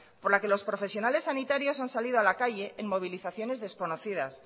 por la que los profesionales sanitarios han salido a la calle en movilizaciones desconocidas